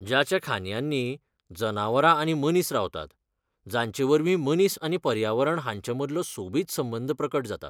जाच्या खांदयांनी जनावरां आनी मनीस रावतात, जांचेवरवीं मनीस आनी पर्यावरण हांचे मदलो सोबीत संबंद प्रकट जाता.